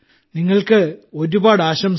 നിങ്ങൾക്ക് ഒരുപാട് ആശംസകൾ